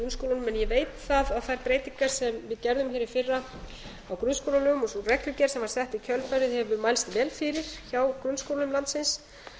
en ég veit að þær breytingar sem við gerðum hér í fyrra á grunnskólalögum og sú reglugerð sem var sett í kjölfarið hefur mælst vel fyrir hjá grunnskólum landsins